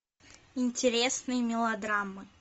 интересные мелодрамы